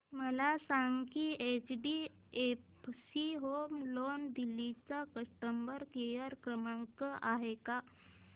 मला सांगा की एचडीएफसी होम लोन दिल्ली चा कस्टमर केयर क्रमांक आहे का